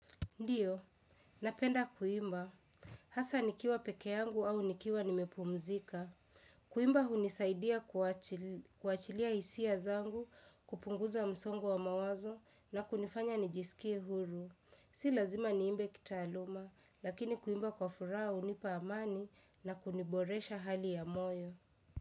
Ndiyo, napenda kuimba. Hasa nikiwa peke yangu au nikiwa nimepumzika. Kuimba hunisaidia kuachilia hisia zangu, kupunguza msongo wa mawazo na kunifanya nijisikie huru. Si lazima niimbe kitaaluma, lakini kuimba kwa furaha hunipa amani na kuniboresha hali ya moyo.